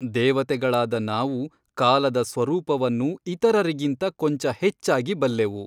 ದೇವತೆಗಳಾದ ನಾವು ಕಾಲದ ಸ್ವರೂಪವನ್ನು ಇತರರಿಗಿಂತ ಕೊಂಚ ಹೆಚ್ಚಾಗಿ ಬಲ್ಲೆವು.